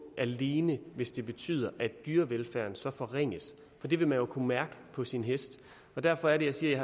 alene hvis det betyder at dyrevelfærden så forringes for det vil man jo kunne mærke på sin hest derfor er det jeg siger